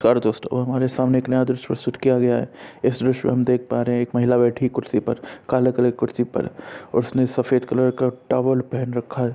दोस्तों और हमारे सामने एक नया दृश्य शूट किया गया है। इस विश्व मे हम देख पा रहे हैं कि एक महिला बैठी है कुर्सी पर काले कलर कि कुर्सी पर। उसने सफेद कलर का टावल पहन रखा है।